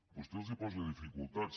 vostè els posa dificultats